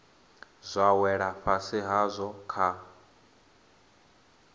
zwa wela fhasi hadzo kha